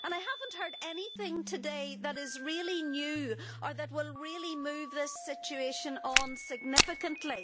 I have not heard anything today that is really new or that will move this situation on significantly.